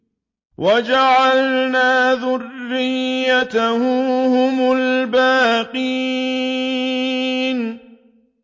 وَجَعَلْنَا ذُرِّيَّتَهُ هُمُ الْبَاقِينَ